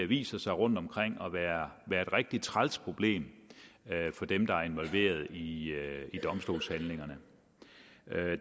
viser sig rundtomkring at være et rigtig træls problem for dem der er involveret i domstolshandlingerne